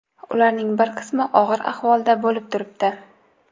Ularning bir qismi og‘ir ahvolda bo‘lib turibdi.